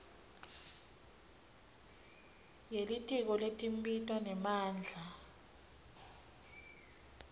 yelitiko letimbiwa nemandla